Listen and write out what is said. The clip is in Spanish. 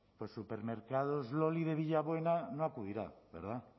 supermercados loli de villabuena no acudirán verdad